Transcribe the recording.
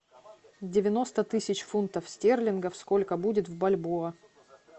девяносто тысяч фунтов стерлингов сколько будет в бальбоа